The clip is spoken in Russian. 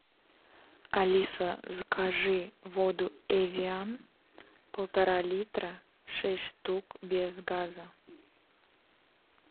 алиса закажи воду эвиан полтора литра шесть штук без газа